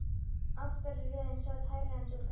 Aftari röðin sat hærra en sú fremri.